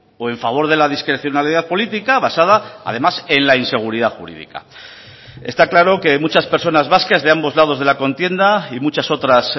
o en favor de la discrecionalidad política basada además en la inseguridad jurídica está claro que muchas personas vascas de ambos lados de la contienda y muchas otras